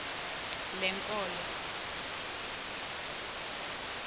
lenkolo